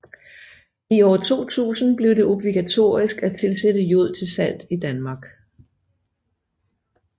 I år 2000 blev det obligatorisk at tilsætte jod til salt i Danmark